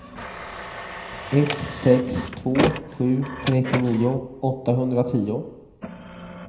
ett sex två sju trettionio åttahundratio